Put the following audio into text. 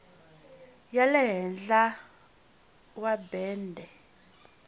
ya le henhla wa bende